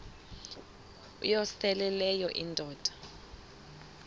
uyosele leyo indoda